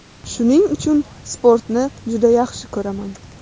Shuning uchun sportni juda yaxshi ko‘raman.